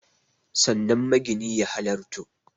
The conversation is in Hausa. Sannan magini ya halarto